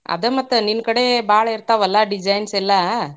ಅದ ಮತ್ ನಿನ್ನ ಕಡೆ ಭಾಳ ಇರ್ತಾವಲ್ಲಾ. designs ಎಲ್ಲಾ.